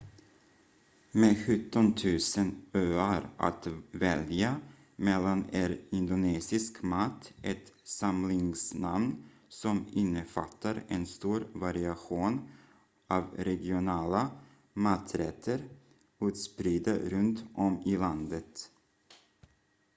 med 17 000 öar att välja mellan är indonesisk mat ett samlingsnamn som innefattar en stor variation av regionala maträtter utspridda runt om i landet